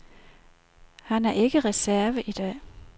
Han er ikke reserve i dag.